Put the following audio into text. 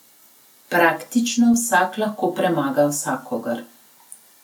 Praktično vsak lahko premaga vsakogar.